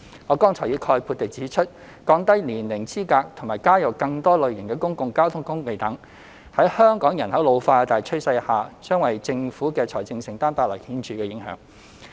我剛才已概括地指出，降低年齡資格和加入更多類型的公共交通工具等，在香港人口老化的大趨勢下，將為政府的財政承擔帶來顯著影響。